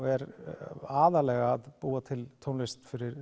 er aðallega að búa til tónlist fyrir